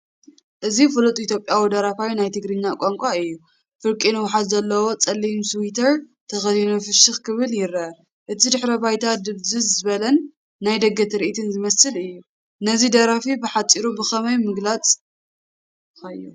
እዚ ፍሉጥ ኢትዮጵያዊ ደራፋይ ናይ ትግርኛ ቋንቋ እዩ፡፡ ፍርቂ ንውሓት ዘለዎ፡ ጸሊም ስዊተር ተኸዲኑ ፍሽኽ ክብል ይረአ። እቲ ድሕረ ባይታ ድብዝዝ ዝበለን ናይ ደገ ትርኢት ዝመስልን እዩ። ነዚ ደራፊ ብሓጺሩ ብኸመይ ምገለጽካዮ?